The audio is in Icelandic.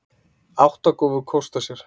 Átta gáfu kost á sér.